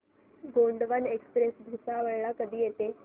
Gondwana express Bhusawal ला कधी येते